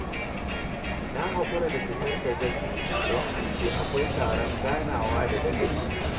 Na haƙura da fitar da zan yi, don an ce akwai taron ganawa da dagaci